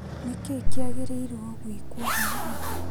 Nĩkĩĩ kĩagĩrĩirwo gwĩkwo haha?